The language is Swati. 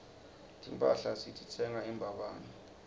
timphahla sititsenga embabane